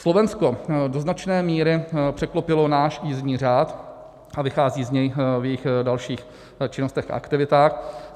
Slovensko do značné míry překlopilo náš jízdní řád a vychází z něj v jejich dalších činnostech a aktivitách.